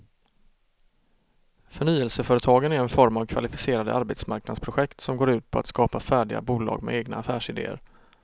Förnyelseföretagen är en form av kvalificerade arbetsmarknadsprojekt som går ut på att skapa färdiga bolag med egna affärsideer.